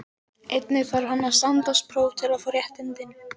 Einnig þarf hann að standast próf til að fá réttindin.